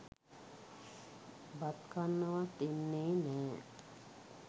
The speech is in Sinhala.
බත් කන්නවත් එන්නේ නෑ.